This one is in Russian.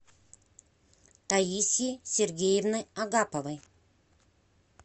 таисьи сергеевны агаповой